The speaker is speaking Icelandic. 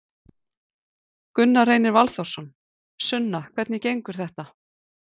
Gunnar Reynir Valþórsson: Sunna hvernig gengur þetta?